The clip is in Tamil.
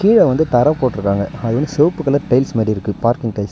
கீழ வந்து தர போட்ருக்காங்க அது வந்து செவப்பு கலர் டைல்ஸ் மாறி இருக்கு பார்க்கிங் டைல்ஸ் .